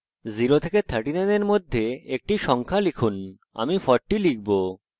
0 এবং 39 এর মধ্যে একটি সংখ্যা লিখুন আমি 40 লিখবো